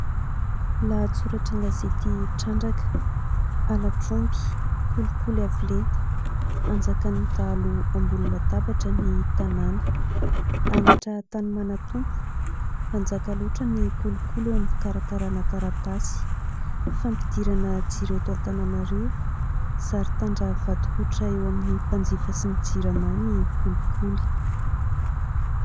Lahatsoratra an-gazety: "Trandraka ": halatr'omby, kolikoly avo lenta, anjakan'ny dahalo ambony tabatra ny tanàna, halatra tany manan- tompo , manjaka loatra ny kolikoly eo amin'ny fikarakarana taratasy fampidirana jiro eto Antananarivo, zary tandra vadi-koditra eo amin'ny mpanjifa sy ny jirama ny kolikoly.